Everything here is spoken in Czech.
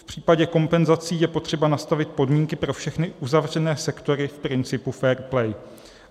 V případě kompenzací je potřeba nastavit podmínky pro všechny uzavřené sektory v principu fair play.